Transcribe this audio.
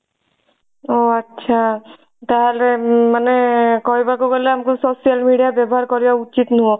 ଓଃ ଆଚ୍ଛା ତାହେଲେ ମାନେ କହିବାକୁ ଗଲେ ଆମକୁ social media ବ୍ୟବହାର କରିବା ଉଚିତ ନୁହଁ।